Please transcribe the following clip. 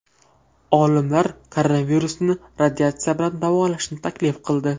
Olimlar koronavirusni radiatsiya bilan davolashni taklif qildi.